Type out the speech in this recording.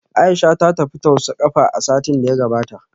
Aisha ta tafi tausa kafa a satin da ya gabata